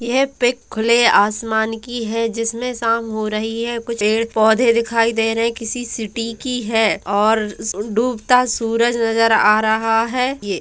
यह पिक खुले आसमान की है जिसमें शाम हो रही है कुछ पेड़ पौधे दिखाई दे रही किसी सिटी की है और डूबता सूरज नज़र आ रहा है। ये--